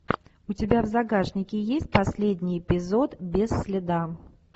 у тебя в загашнике есть последний эпизод без следа